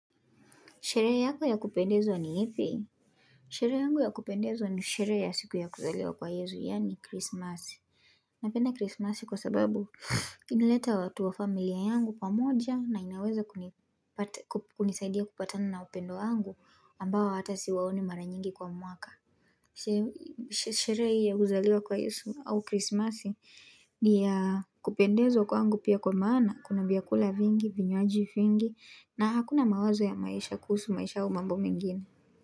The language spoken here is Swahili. Sherehe yako ya kupendeza ni ipi? Sherehe yangu ya kupendeza ni sherehe ya siku ya kuzaliwa kwa yezu, yaani kristmaso. Napenda kristmasi kwa sababu inaleta watu wa familia yangu pamoja na inaweza kunisaidia kupatana na wapendwa wangu ambao hata siwaoni mara nyingi kwa mwaka. Sherehe hii ya kuzaliwa kwa yesu au krismasi ni ya kupendezwa kwangu pia kwa maana kuna vyakula vingi vinywaji vingi na hakuna mawazo ya maisha kuhusu maisha au mambo mengine.